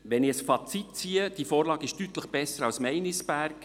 Wenn ich ein Fazit ziehe: Diese Vorlage ist deutlich besser als jene zu Meinisberg.